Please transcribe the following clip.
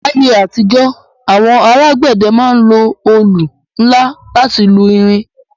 L'ayé àtijọ́, àwọn alágbẹ̀dẹ ma ń lo olù nla láti lu irin